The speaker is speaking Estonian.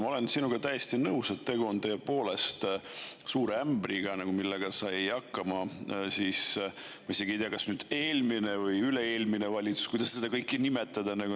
Ma olen sinuga täiesti nõus, et tegu on tõepoolest suure ämbriga, millega sai hakkama, ma isegi ei tea, kas eelmine või üle-eelmine valitsus, kuidas seda kõike nimetada.